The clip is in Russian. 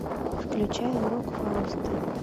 включай урок фауста